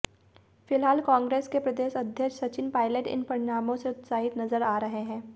फ़िलहाल कांग्रेस के प्रदेश अध्यक्ष सचिन पाइलट इन परिणामों से उत्साहित नज़र आ रहे है